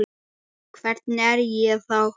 Hvernig er ég þá?